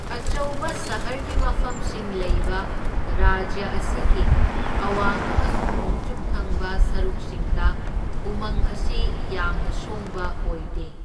ꯑꯆꯧꯕ ꯁꯍꯔꯒꯤ ꯃꯐꯝꯁꯤꯡ ꯂꯩꯕ ꯔꯥꯖ꯭ꯌ ꯑꯁꯤꯒꯤ ꯑꯋꯥꯡ ꯑꯃꯁꯨꯡ ꯅꯣꯡꯆꯨꯞ ꯊꯪꯕ ꯁꯔꯨꯛꯁꯤꯡꯗ ꯎꯃꯪ ꯑꯁꯤ ꯌꯥꯝꯅ ꯁꯣꯡꯕ ꯑꯣꯏꯗꯦ꯫